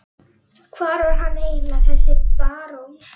Hver var hann eiginlega, þessi barón?